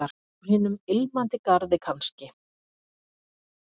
Úr hinum Ilmandi garði kannski?